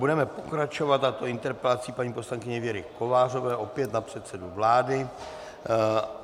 Budeme pokračovat, a to interpelací paní poslankyně Věry Kovářové opět na předsedu vlády.